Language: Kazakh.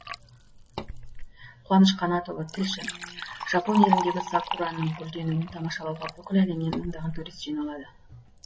қуаныш қанатұлы тілші жапон еліндегі сакураның гүлденуін тамашалауға бүкіл әлемнен мыңдаған турист жиналады